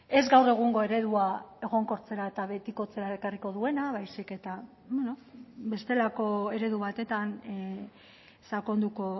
ez gaur egungo eredua egonkortzera eta betikotzera ekarriko duena baizik eta bestelako eredu batetan sakonduko